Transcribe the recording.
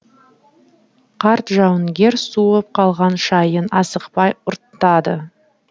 қарт жауынгер суып қалған шайын асықпай ұрттады